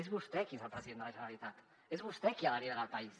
és vostè qui és el president de la generalitat és vostè qui ha de liderar el país